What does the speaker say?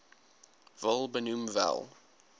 wil benoem wel